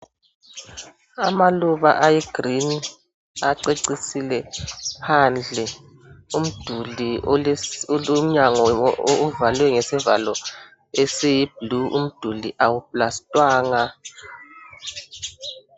Amaluba aluhlaza acecisile phandle umduli olomnyango ovalwe ngesivalo esiyi blue. Umduli awuplastwanga.